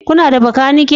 Kuna da makaniki?